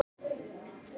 Ég gaus líka